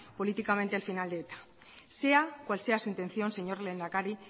políticamente el final de eta sea cual sea su intención señor lehendakari